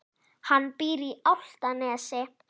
Hann býr á Álftanesi.